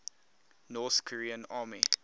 north korean army